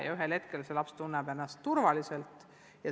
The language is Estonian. Ja ühel hetkel see laps tunneb ennast turvaliselt.